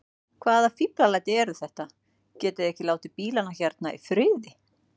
Hvaða fíflalæti eru þetta. getiði ekki látið bílana hérna í friði!